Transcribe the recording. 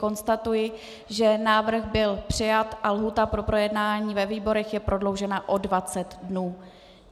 Konstatuji, že návrh byl přijat a lhůta pro projednání ve výborech je prodloužena o 20 dnů.